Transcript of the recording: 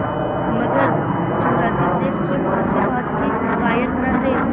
मगर जुमराती शेख स्वयं आशीर्वाद के कायल न थे